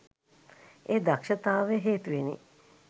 ඒ දක්ෂතාවය හේතුවෙනි.